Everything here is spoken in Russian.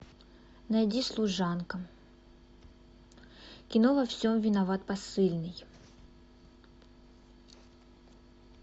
найди служанка кино во всем виноват посыльный